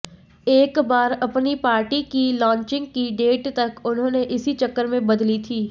एक बार अपनी पार्टी की लॉचिंग की डेट तक उन्होंने इसी चक्कर में बदली थी